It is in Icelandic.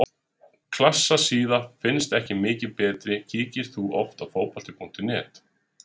Klassa síða finnast ekki mikið betri Kíkir þú oft á Fótbolti.net?